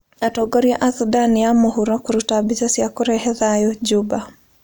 Atongoria a Sudan ya Mũhuro kũruta mbica cia kũrehe thayũ Juba.